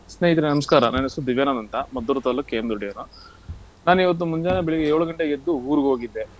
ಸ್ನೇಹಿತ್ರೇ ನಮ್ಸ್ಕಾರ. ನನ್ ಹೆಸ್ರು ದಿವ್ಯಾನಂದ್ ಅಂತ, ಮದ್ದೂರು ತಾಲ್ಲೂಕ್ KM ದೊಡ್ಡಿಯವನು, ನಾನಿವತ್ತು ಮುಂಜಾನೆ ಬೆಳಿಗ್ಗೆ ಏಳು ಗಂಟೆಗೆದ್ದು ಊರ್ಗ್ ಹೋಗಿದ್ದೆ.